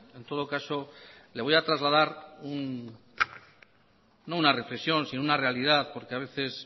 en todo caso le voy a trasladar no una reflexión sino una realidad porque a veces